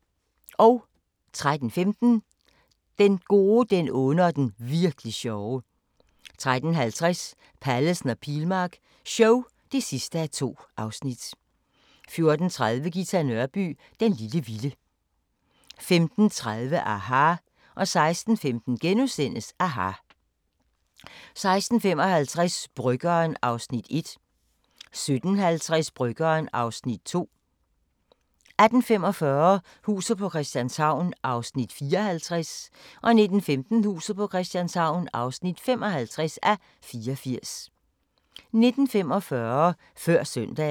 13:15: Den gode, den onde og den virk'li sjove 13:50: Pallesen og Pilmark show (2:2) 14:30: Ghita Nørby "Den lille vilde" 15:30: aHA! 16:15: aHA! * 16:55: Bryggeren (Afs. 1) 17:50: Bryggeren (Afs. 2) 18:45: Huset på Christianshavn (54:84) 19:15: Huset på Christianshavn (55:84) 19:45: Før søndagen